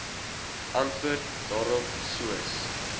antwoord daarop soos